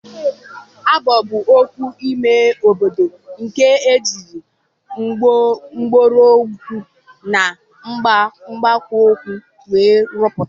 Agbo bụ ọgwụ ímé obodo nkè ejiri mgbọrọgwụ na nkpakwukwo wee ruputa.